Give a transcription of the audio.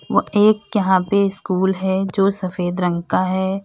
व एक यहां पे स्कूल है जो सफेद रंग का है।